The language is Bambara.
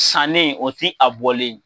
Sannen o ti a bɔlen ye.